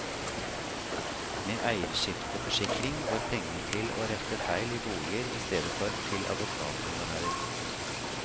Med eierskifteforsikring går pengene til å rette feil i boliger i stedet for til advokathonorarer.